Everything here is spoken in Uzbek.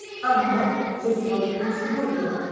Ammo jekpot birinchisi bo‘lgan.